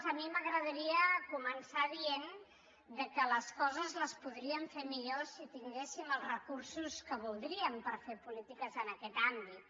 a mi m’agradaria començar dient que les coses les podríem fer millor si tinguéssim els recursos que voldríem per fer polítiques en aquest àmbit